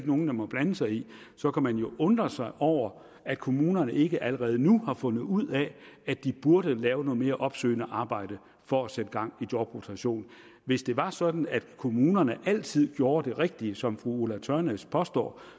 nogen der må blande sig i det så kan man jo undre sig over at kommunerne ikke allerede nu har fundet ud af at de burde lave noget mere opsøgende arbejde for at sætte gang i jobrotation hvis det var sådan at kommunerne altid gjorde det rigtige som fru ulla tørnæs påstår